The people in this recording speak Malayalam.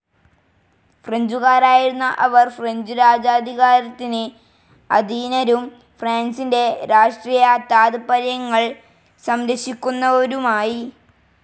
ഫ്രെഞ്ചുകാരായിരുന്ന അവർ, ഫ്രഞ്ച്‌ രാജാധികാരത്തിന് അധീനരും ഫ്രാൻസിന്റെ രാഷ്ട്രീയ താത്പര്യങ്ങൾ സംരക്ഷിക്കുന്നവരുമായി.